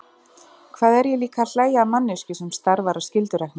Hvað er ég líka að hlæja að manneskju sem starfar af skyldurækni?